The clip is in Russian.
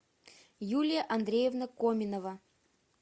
юлия андреевна коминова